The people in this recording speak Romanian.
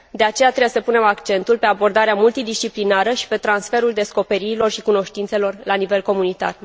De aceea, trebuie să punem accentul pe abordarea multidisciplinară și pe transferul descoperirilor și cunoștințelor la nivel comunitar.